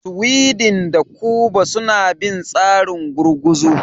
Sweden da Kuba suna bin tsarin gurguzu.